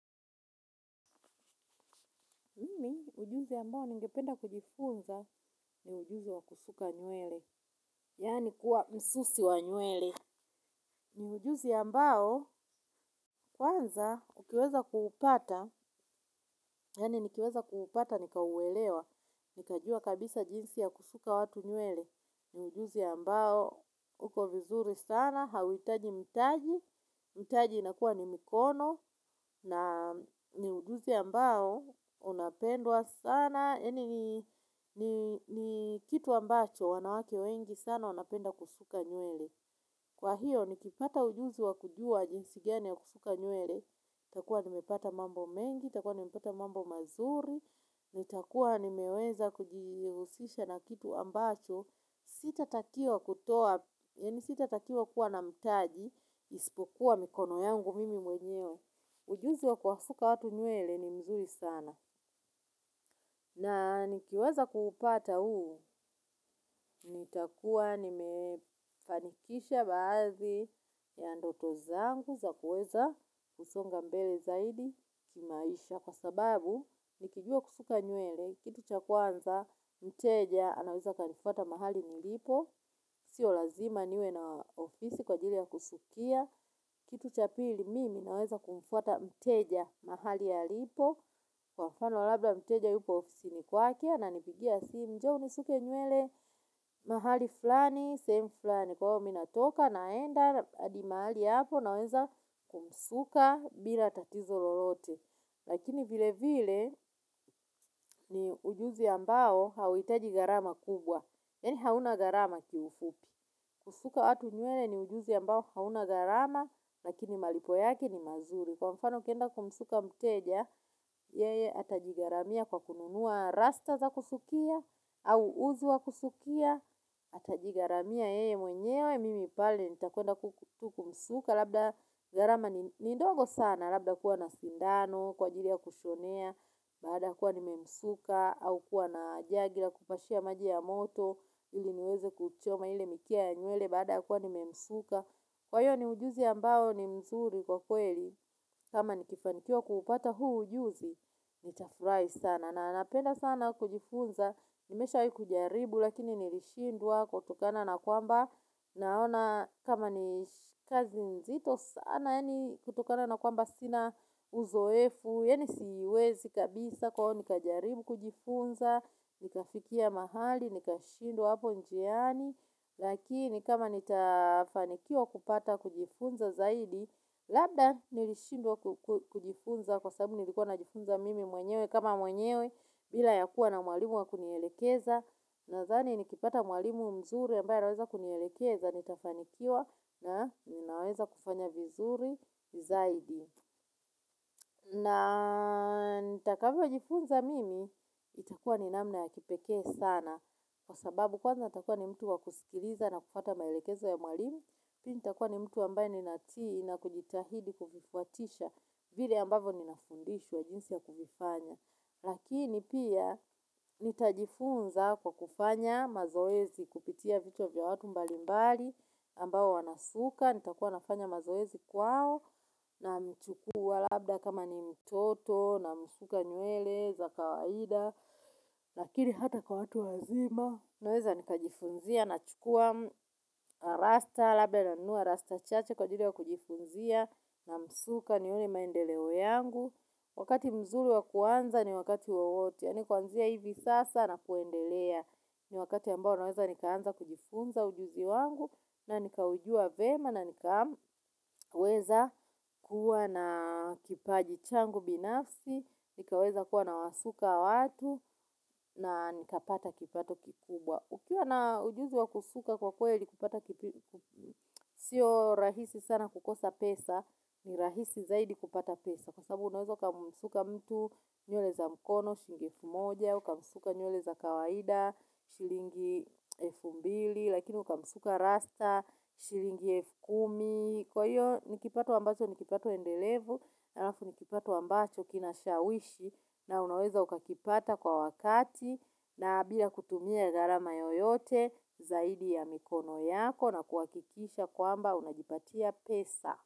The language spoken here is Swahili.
Ujuzi ambao ningependa kujifunza ni ujuzi wa kusuka nywele, yaani kuwa msusi wa nywele. Ni ujuzi ambao kwanza ukiweza kuupata, yaani nikiweza kuupata nikauwelewa, nikajua kabisa jinsi ya kusuka watu nywele. Ni ujuzi mbao uko vizuri sana, hauhitaji mtaji, mtaji inakuwa ni mikono. Na ni ujuzi ambao unapendwa sana, ni kitu ambacho wanawake wengi sana wanapenda kusuka nywele. Kwa hiyo ni kipata ujuzi wakujua jinsi gani ya kusuka nywele, nitakuwa nimepata mambo mengi, nitakuwa nimepata mambo mazuri, ni takuwa nimeweza kujihusisha na kitu ambacho, sita takiwa kutoa, yaani sita takiwa kuwa na mtaji, ispokuwa mikono yangu mimi mwenyewe. Ujuzi wa kuwasuka watu nywele ni mzuri sana. Na nikiweza kupata huu, nitakuwa nimefanikisha baadhi ya ndoto zangu za kuweza kusonga mbele zaidi kimaisha. Kwa sababu, nikijua kusuka nywele, kitu cha kwanza, mteja, anaweza akanifuata mahali nilipo. Sio lazima niwe na ofisi kwa ajili ya kusukia. Kitu cha pili mimi naweza kumfwata mteja mahali alipo. Kwa mfano labda mteja yupo ofisini kwake ananipigia simu njoo unisuke nywele mahali fulani. Sehemu fulani kwa hiyo mimi natoka naenda hadi mahali apo naweza kumsuka bila tatizo lolote. Lakini vile vile ni ujuzi ambao hauhitaji gharama kubwa. Yaani hauna gbarama ki ufupi. Kusuka watu nywele ni ujuzi ambao hauna gharama, lakini malipo yake ni mazuri. Kwa mfano ukienda kumsuka mteja, yeye atajiggaramia kwa kununua rasta za kusukia, au uzi wa kusukia, atajigharamia yeye mwenyewe, mimipale, nitakuenda tu ku msuka labda gharama ni ndogo sana, labda kuwa na sindano, kwa ajili ya kushonea, baada kuwa nimemsuka au kuwa na jagi la kupashia maji ya moto ili niweze kuchoma ile mikia ya nywele baada kuwa nimemsuka. Kwa hiyo ni ujuzi ambao ni mzuri kwa kweli kama ni kifanikiwa kupata huu ujuzi ni tafurahi sana. Na napenda sana kujifunza nimeshawahi kujaribu lakini nilishindwa kutokana na kwamba. Naona kama ni kazi nzito sana, yaani kutokana na kwamba sina uzoefu, yaani siwezi kabisa kwa hiyo, nikajaribu kujifunza, nikafikia mahali, nikashindwa hapo njiani. Lakini kama nitafanikiwa kupata kujifunza zaidi, labda nilishindwa kujifunza kwa sababu nilikuwa najifunza mimi mwenyewe kama mwenyewe. Bila ya kuwa na mwalimu wa kunielekeza. Nadhani ni kipata mwalimu mzuri ambaye anaweza kunielekeza. Nitafanikiwa na ninaweza kufanya vizuri zaidi. Na nita kavyo jifunza mimi. Itakuwa ni namna ya kipeke sana. Kwa sababu kwanza nitakuwa ni mtu wa kusikiliza na kufuata maelekezo ya mwalimu. Pili nitakuwa ni mtu ambaye ni natii na kujitahidi kuvifuatisha. Vile ambavo ni nafundishwa jinsi ya kuvifanya. Lakini pia nitajifunza kwa kufanya mazoezi kupitia vichwa vya watu mbali mbali ambao wanasuka nitakuwa nafanya mazoezi kwao na mchukua labda kama ni mtoto na msuka nywele za kawaida. Lakini hata kwa watu wazima naweza nikajifunzia na chukua rasta labda nanunua rasta chache kwa ajili ya kujifunzia na msuka nione maendeleo yangu wakati mzuri kuanza ni wakati wowote yaani kuanzia hivi sasa na kuendelea. Ni wakati ambao naweza nikaanza kujifunza ujuzi wangu. Na nikaujua vyema na nikaweza kuwa na kipaji changu binafsi. Nikaweza kuwa na wasuka watu. Na nikapata kipato kikubwa. Ukiwa na ujuzi wakusuka kwa kweli kupata kipi. Sio rahisi sana kukosa pesa. Ni rahisi zaidi kupata pesa. Kwa sabu unaweza uka msuka mtu nywele za mkono, shilingi elfu moja, uka msuka nywele za kawaida, shilingi elfu mbili, lakini uka msuka rasta, shilingi elfu kumi. Kwa hiyo nikipato ambacho nikipata uendelevu, ha lafu ni kipato ambacho kinashawishi na unaweza uka kipata kwa wakati na bila kutumia gharama yoyote zaidi ya mikono yako na kuhakikisha kwamba unajipatia pesa.